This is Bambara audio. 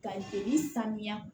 Ka joli sanuya